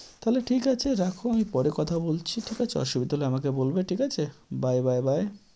তাহলে ঠিক আছে, রাখো আমি পরে কথা বলছি, ঠিক আছে? অসুবিধা হলে আমাকে বলবে ঠিক আছে? bye bye bye ।